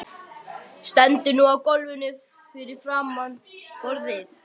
Stendur nú á gólfinu framan við borðið.